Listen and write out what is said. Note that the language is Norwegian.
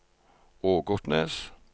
Ågotnes